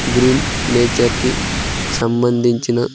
green nature కి సంబంధించిన--